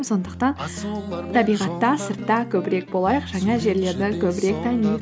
сондықтан табиғатта сыртта көбірек болайық